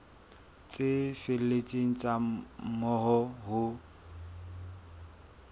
tse felletseng tsa moo ho